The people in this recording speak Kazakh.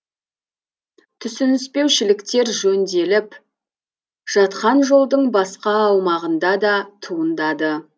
түсініспеушіліктер жөнделіп жатқан жолдың басқа аумағында да туындады